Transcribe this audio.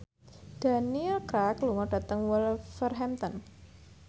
Daniel Craig lunga dhateng Wolverhampton